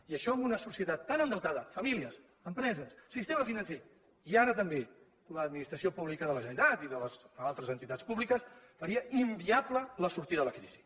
i això en una societat tan endeutada famílies empreses sistema financer i ara també l’administració pública de la generalitat i altres entitats públiques faria inviable la sortida de la crisi